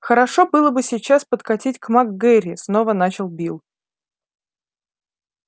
хорошо было бы сейчас подкатить к мак гэрри снова начал билл